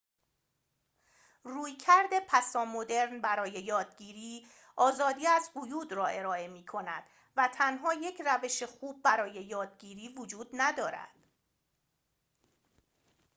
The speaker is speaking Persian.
رویکرد پسامدرن برای یادگیری آزادی از قیود را ارائه می‌کند و تنها یک روش خوب برای یادگیری وجود ندارد